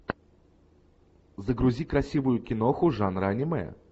загрузи красивую киноху жанра аниме